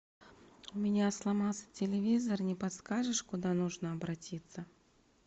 у меня сломался телевизор не подскажешь куда нужно обратиться